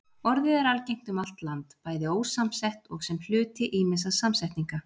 Orðið er algengt um allt land, bæði ósamsett og sem hluti ýmissa samsetninga.